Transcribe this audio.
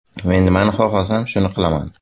Men nimani xohlasam, shuni qilaman.